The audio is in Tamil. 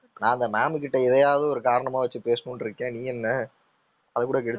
நான் அந்த ma'am கிட்ட இதையாவது ஒரு காரணமா வச்சி பேசணுன்னு இருக்கேன் நீ என்ன அதை கூட கெடுத்து